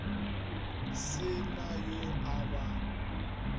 se na yo a ba